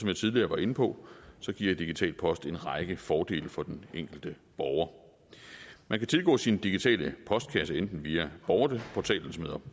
jeg tidligere var inde på giver digital post en række fordele for den enkelte borger man kan tilgå sin digitale postkasse enten via borgerportalen som hedder